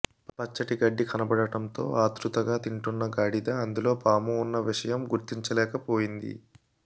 పచ్చటి గడ్డి కనపడటంతో ఆత్రుతగా తింటున్న గాడిద అందులో పాము ఉన్న విషయం గుర్తించలేకపోయింది